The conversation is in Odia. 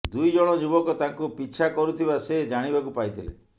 ଦୁଇ ଜଣ ଯୁବକ ତାଙ୍କୁ ପିଛା କରୁଥିବା ସେ ଜାଣିବାକୁ ପାଇଥିଲେ